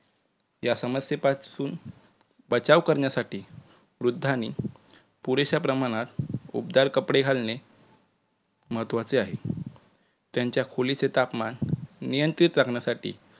या समस्ये पासून बचाव करण्यासाठी वृद्धांनी पुरेश्या प्रमाणात उबदार कपडे घालणे महत्वाचे आहे. तत्यांच्या खोलीचे तापमान नियंत्रित करण्यासाठी